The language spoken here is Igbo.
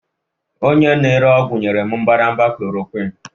onye na-ere ọgwụ nyere m mbadamba chloroquine